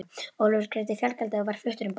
Ólafur greiddi fargjaldið og var fluttur um borð.